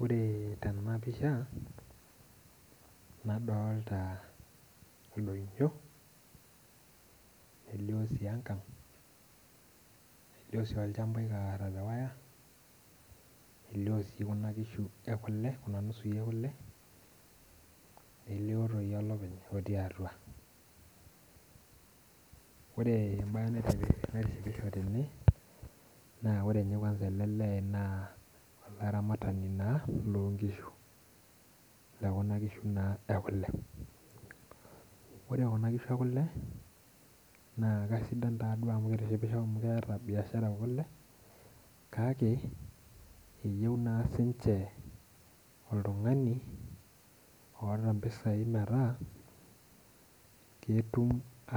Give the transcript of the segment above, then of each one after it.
Ore tena pisha nadolita ildoinyio elioo sii enkang' elioo sii olchamba oikarra tewaya elioo sii kuna nusui ekule nelioo toi olopeny otii atua, ore ebaye naitishipisho tene naa oroe ninye kwanza ele lee naa olaramatani naa loonkishu lekuna kishu naa ekule ore kuna kishu ekule naa kasidan taaduo kitishipisho amu keeta bishara ekule kake eyieu naa siinche oltung'ani oota mpisaai metaa ktum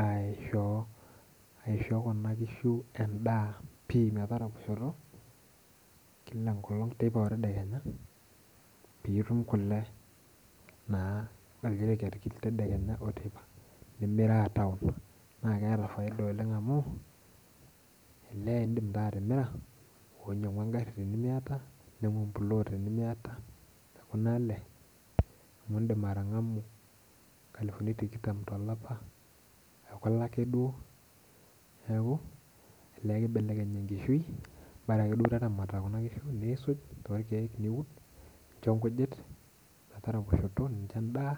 aishoo kuna kishu endaa pii metaraposhoto kila teeipa otedekenya pee itum kule naa olderekeny tedekenya oteipa nimiraa town naa keeta faida oleng amu elee iindim taa atimira oonyiang'u engarri tenemiata ninyiang'u emplot tenemiata tekuna ale amu iindim atang'amu nkalifuni tikitam tlopa ekule ake duoo neeku elee kibelekeny enkishui bara akrduoo taramata kuna kishunisuuj torrkeek niud nincho nkujit metaraposhoto nincho endaa.